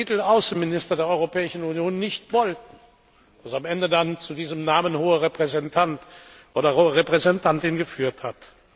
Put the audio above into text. B. den Titel Außenminister der Europäischen Union nicht wollten, was am Ende dann zu diesem Namen Hoher Repräsentant oder Hohe Repräsentantin geführt hat.